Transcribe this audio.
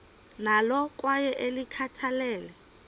nalo kwaye ulikhathalele